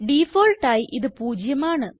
default ആയി ഇത് പൂജ്യമാണ്